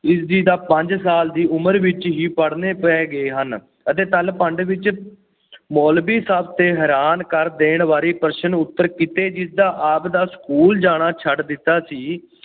ਇਸ ਜੀ ਤਾਂ ਪੰਜ ਸਾਲ ਦੀ ਉਮਰ ਵਿਚ ਹੀ ਪੜ੍ਹਨੇ ਪੈ ਗਏ ਹਨ ਅਤੇ ਵਿੱਚ ਮੌਲਵੀ ਸਭ ਤੇ ਹੈਰਾਨ ਕਰ ਦੇਣ ਵਾਲੇ ਪ੍ਰਸ਼ਨ-ਉੱਤਰ ਕੀਤੇ, ਜਿਸਦਾ ਆਪਦਾ ਸਕੂਲ ਜਾਣਾ ਛੱਡ ਦਿੱਤਾ ਸੀ।